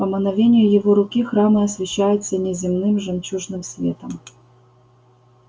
по мановению его руки храмы освещаются неземным жемчужным светом